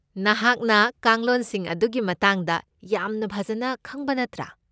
ꯅꯍꯥꯛꯅ ꯀꯥꯡꯂꯣꯟꯁꯤꯡ ꯑꯗꯨꯒꯤ ꯃꯇꯥꯡꯗ ꯌꯥꯝꯅ ꯐꯖꯅ ꯈꯪꯕ ꯅꯠꯇ꯭ꯔꯥ?